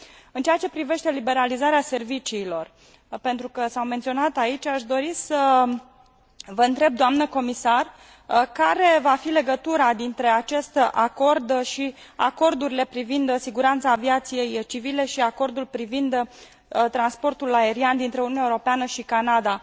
În ceea ce privește liberalizarea serviciilor, pentru că a fost menționată aici, aș dori să vă întreb, doamnă comisar, care va fi legătura dintre acest acord și acordurile privind siguranța aviației civile și acordul privind transportul aerian dintre Uniunea Europeană și Canada.